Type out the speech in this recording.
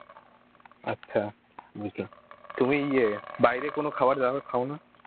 আচ্ছা বুঝলেন তুমি ইয়ে বাইরে কোনো খাবার দাবার খাও না?